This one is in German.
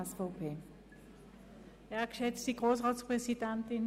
Wir kommen zu den Einzelsprechenden.